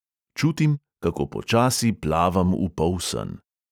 Čutim, kako počasi plavam v polsen.